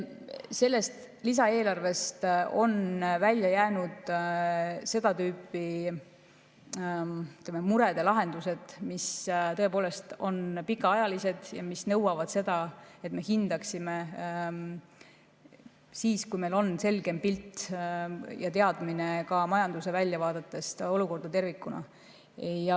Sellest lisaeelarvest on välja jäänud seda tüüpi murede lahendused, mis tõepoolest on pikaajalised ja mis nõuavad seda, et me hindaksime neid siis, kui meil on selgem pilt ja teadmine majanduse väljavaadete olukorrast tervikuna.